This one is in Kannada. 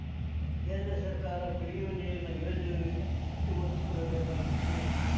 ಕೇಂದ್ರ ಸರ್ಕಾರ ಕುಡಿಯುವ ನೀರಿನ ಯೋಜನೆಗಳಿಗೆ ಹೆಚ್ಚು ಒತ್ತು ಕೊಡಬೇಕಾಗಿತ್ತು